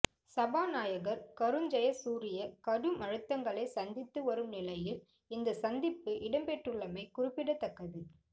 சபாநாயகர் கருஜெயசூரிய கடும் அழுத்தங்களை சந்தித்து வரும் நிலையில் இந்த சந்திப்பு இடம்பெற்றுள்ளமை குறிப்பிடத்தக்கது